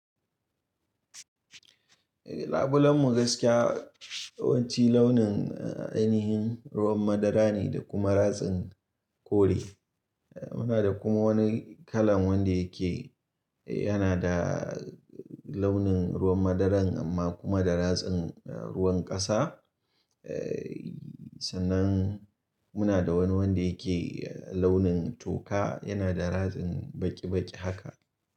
Labulen mu gaskiya yawanci launin ainihin ruwan madara ne da kuma ratsin kore. Munada kuma wani kalan wanda yake yanada launin ruwan madaran amma kuma da ratsin ruwan kasa. Sannan muna da wani wanda yake launin toka, yanada ratsin baki baki haka.